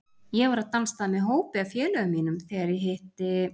Ég var á dansstað með hópi af félögum mínum þegar ég hitti